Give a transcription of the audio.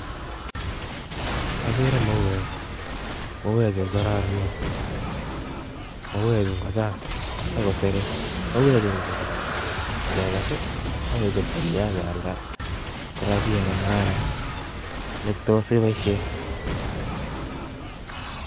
Agree mauwek ,mauechu kokororonen, mauwek Chu kochang, mauwekchu ingechob komie akekes akealdaa korabiat nekararan netos iboishien